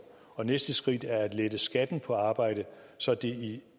og næste skridt er at lette skatten på arbejde så det i